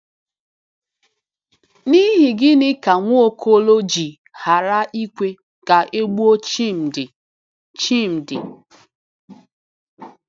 N’ihi gịnị ka Nwaokolo ji ghara ikwe ka e gbuo Chimdi Chimdi